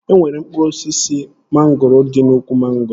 E nwere mkpụrụ osisi mangoro dị n'úkwù mangoro?